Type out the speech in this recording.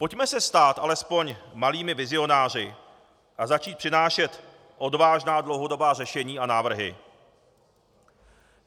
Pojďme se stát alespoň malými vizionáři a začít přinášet odvážná dlouhodobá řešení a návrhy.